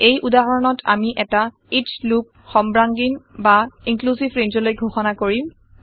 এই উদাহৰণত আমি এটা ইচ লুপ সৰ্বাঙ্গীন বা ইন্ক্লিউচিভ ৰেঞ্জলৈ ঘোষণা কৰিম